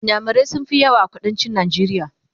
inyamurai sun Fi yawa a kuduncin najeriya